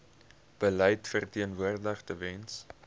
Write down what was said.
beleid verteenwoordig tewens